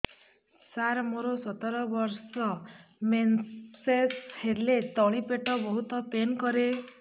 ସାର ମୋର ସତର ବର୍ଷ ମେନ୍ସେସ ହେଲେ ତଳି ପେଟ ବହୁତ ପେନ୍ କରେ